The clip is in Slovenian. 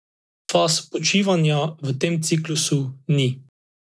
Faz počivanja v tem ciklusu ni.